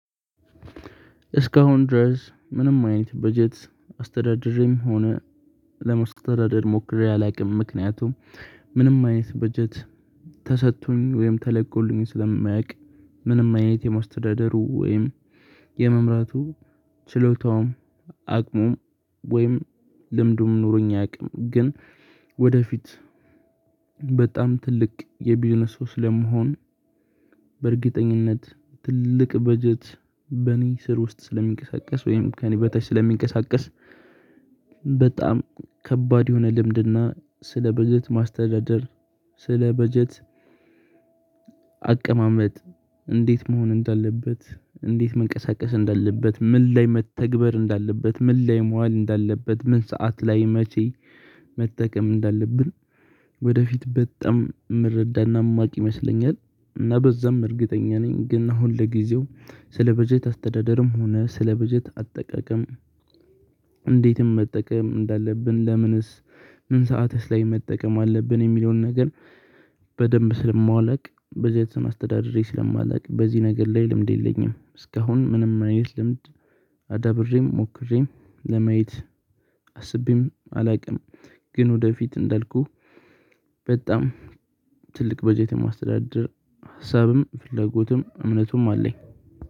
እስካሁን ድረስ ምንም አይነት በጀት አስተዳደሬም ሆነ ለማስተዳደር ሞክሬ አላውቅም ምክንያቱም ምንም አይነት በጀት ተሰጥቶኝ ወይም ተለቆልኝ ስለማያውቅ ምንም አይነት የማስተዳደሩ ወይም የመምራቱ ችሎታውም አቅሙም ወይም ልምዱም ኑሮኝ አያውቅም። ግን ወደፊት በጣም ትልቅ የቢዝነስ ሰው ስለምሆን በእርግጠኝነት ትልቅ በጀት በእኔ ስር ውስጥ ስለሚንቀሳቀስ ወይም ከእኔ በታች ስለሚንቀሳቀስ በጣም ከባድ የሆነ ልምድና ስለ በጀት ማስተዳደር ስለ በጀት አቀማመጥ እንዴት መሆን እንዳለበት እንዴት መንቀሳቀስ እንዳለበት ምን ላይ መተግበር እንዳለበት ምን ላይ መዋል እንዳለበት ምን ሰዓት ላይ መቼ መጠቀም እንዳለብን? ወደፊት በጣም የምረዳትና የማውቅ ይመስለኛል እና በዛም እርግጠኛ ነኝ። ግን አሁን ለጊዜው ስለ በጀት አስተዳደርም ሆነ ስለ በጀት አጠቃቀም እንዴትም መጠቀም እንዳለብን ለምንስ ምን ሰዓትስ ላይ መጠቀም አለብን የሚለውን ነገር በደንብ ስለማላቅ በጀትም አስተዳደሬ ስለማላውቅ በዚህ ነገር ላይ ልምድ የለኝም። እስካሁን ምንም አይነት ልምድ አዳብሬም ሞክሬም ለማየት አስቤም አላውቅም፤። ግን ወደፊት እንዳልኩህ በጣም በጀት የማስተዳደር ሀሳብም ፍላጎትም እምነቱም አለኝ